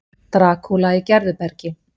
Drakúla í Gerðubergi